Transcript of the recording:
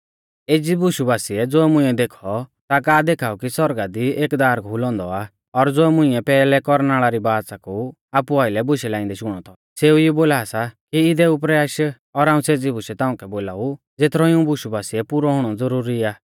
एज़ी बुशु बासिऐ ज़ो मुंइऐ देखौ ता का देखाऊ कि सौरगा दी एक दार खुलौ औन्दौ आ और ज़ो मुंइऐ पैहलै कौरनाल़ री बाच़ा कु आपु आइलै बुशै लाइंदै शुणौ थौ सेऊ ई बोला सा कि इदै उपरै आश और हाऊं सेज़ी बुशै ताउंकै बोलाऊ ज़ेथरौ इऊं बुशु बासिऐ पुरौ हुणौ ज़ुरुरी आ